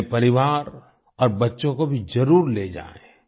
अपने परिवार और बच्चों को भी जरुर ले जाएँ